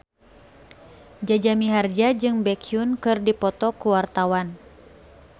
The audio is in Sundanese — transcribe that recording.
Jaja Mihardja jeung Baekhyun keur dipoto ku wartawan